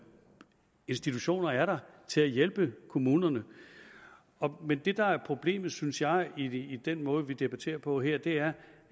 institutioner er der til at hjælpe kommunerne men det der er problemet synes jeg i i den måde vi debatterer på her er